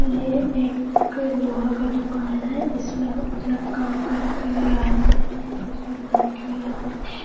ये एक लोहा का दुकान है इसमें लोग अपना काम करने के लिए आते है या कुछ करवाने के लिए आते है। ]